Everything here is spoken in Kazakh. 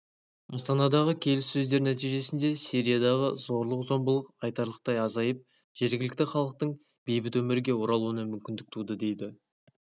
астанадағы келіссөздер нәтижесінде сириядағы зорлық-зомбылық айтарлықтай азайып жергілікті халықтың бейбіт өмірге оралуына мүмкіндік туды деді